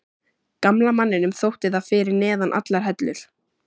Gamla manninum þótti það fyrir neðan allar hellur.